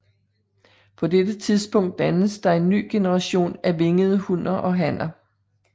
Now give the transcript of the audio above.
På dette tidspunkt dannes der en ny generation af vingede hunner og hanner